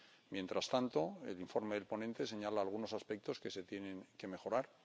Mientras tanto, el informe del ponente señala algunos aspectos que se tienen que mejorar.